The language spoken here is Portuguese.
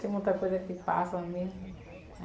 Tem muita coisa que passa mesmo.